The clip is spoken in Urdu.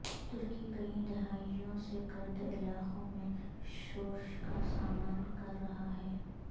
ترکی کئی دہائیوں سے کرد علاقوں میں شورش کا سامنا کر رہا ہے